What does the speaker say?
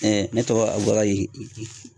ne tɔgɔ Abukari